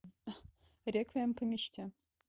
реквием по мечте